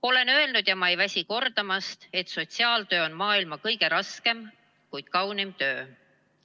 Olen varem öelnud ja ma ei väsi kordamast, et sotsiaaltöö on maailma kõige raskem, kuid kõige kaunim töö.